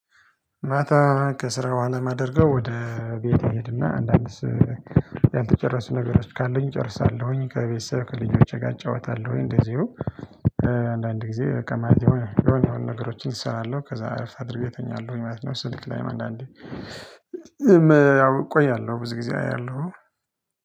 ማታ ከስራራ በኋላ የማደርገው ወደ ቤት እሄድና አንዳንድስ ያልተጨረሱ ነገሮች ካለኝ እጨርሳለሁኝ። ከቤተሰብ ከልጆቼ ጋር እጫወታለሁኝ። እንደዚሁ አንዳንድ ጊዜ ከማየት የሆነ ነገሮችን እሰራለሁ ከዛ እርፍ አድርጌ እተኛለሁኝ ማለት ነው። ስልክ ላይም አንዳንዴ ያው እቆያለሁ ብዙ ጊዜ አያለሁ